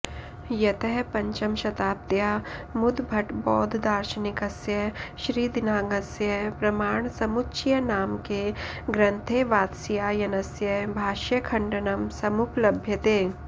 यतः पञ्चमशताब्द्यामुद्भटबौद्धदार्शनिकस्य श्रीदिङ्नागस्य प्रमाण समुच्चयनामके ग्रन्थे वात्स्यायनस्य भाष्यखण्डनं समुपलभ्यते